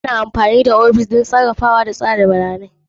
Ana amfani da ofishin don sarrafawa da tsara bayanai.